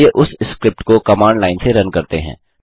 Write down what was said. चलिए उस स्क्रिप्ट को कमांड लाइन से रन करते हैं